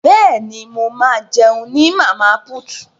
Bẹ́ẹ̀ni, mo ma jẹun ní Màmá put